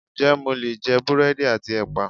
Ǹjẹ́ mo lè jẹ búrẹ́dì àti ẹpa?